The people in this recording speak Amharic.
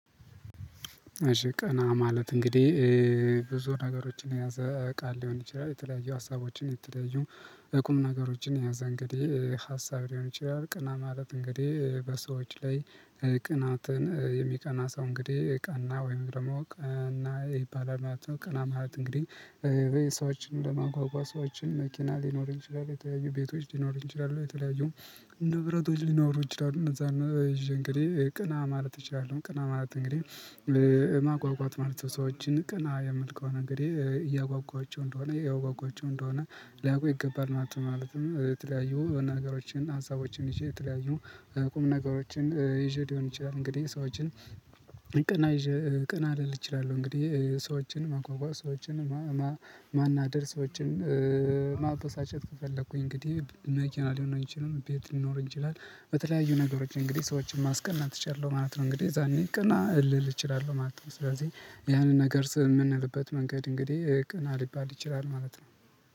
እሺ ቀና ማለት እንግዲህ ብዙ ነገሮችን የያዘ ቃል ሊሆን ይችላል። የተለያዩ ሀሳቦችን የተለያዩ እቁም ነገሮችን የያዘ እንግዲህ ሀሳብ ሊሆን ይችላል ቀና ማለት እንግዲህ በሰዎች ላይ ቅናትን የሚቀና ሰው እንግዲህ ቀና ወይም ደግሞ ቀና ይባላል ማለት ነው። ቀና ማለት እንግዲህ በየሰዎችን ለማጓጓዝ ሰዎችን መኪና ሊኖር ይችላል። የተለያዩ ቤቶች ሊኖሩ ይችላሉ የተለያዩ ንብረቶች ሊኖሩ ይችላሉ እነዛን ይዤ እንግዲህ ቅና ማለት እችላለው ቅና ማለት እንግዲህ ማጓጓት ማለት ነው ሰዎችን ቅና የምል ከሆ አንግድህ እያጓጓቸው እንደሆነ ያጓጓቸው እንደሆነ ሊያቀው ይገባል ማለት ነው። ማለትም የተለያዩ ነገሮችን ሀሳቦችን ይዤ የተለያዩ ቁም ነገሮችን ይዤ ሊሆን ይችላል እንግዲህ ሰዎችን ቀና ቅና ልል እችላለው እንግዲህ ሰዎችን ማጓጓዝ ሰዎችን ማናደር ሰዎችን ማበሳጨት ከፈለኩኝ እንግዲህ መኪና ሊሆን አይችልም ቤት ሊኖር ይችላል በተለያዩ ነገሮች እንግዲህ ሰዎችን ማስቀናት አችላለህ ማለት ነው። እንግዲህ አዛኔ ቅና ልል እችላለሁ ማለት ነው። ስለዚህ ያንን ነገር የምንልበት መንገድ እንግዲህ ቅና ሊባል ይችላል ማለት ነው።